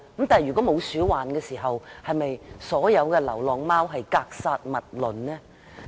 但是，沒有鼠患時，是否對所有流浪貓格殺勿論呢？